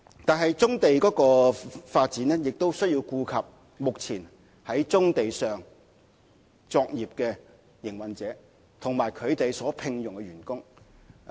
但是，發展棕地亦需要顧及目前在棕地上作業的營運者，以及他們所聘用的員工。